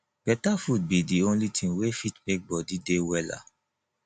better food be dey only thing wey fit make body dey wella